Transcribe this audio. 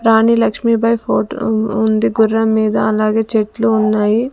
రాణి Lakshmi Bai photo ఉంది గుర్రం మీద అలాగే చెట్లు ఉన్నాయి.